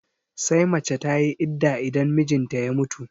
Sai mace tayi idda idan mijinta ya mutu